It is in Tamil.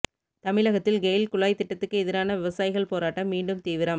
தமிழகத்தில் கெயில் குழாய் திட்டத்துக்கு எதிரான விவசாயிகள் போராட்டம் மீண்டும் தீவிரம்